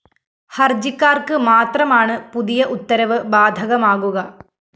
ഹര്‍ജിക്കാര്‍ക്ക് മാത്രമാണ് പുതിയ ഉത്തരവ് ബാധകമാകുക